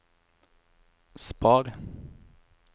spar